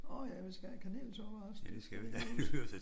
Nå ja vi skal have kanelsukker også. Det skal vi huske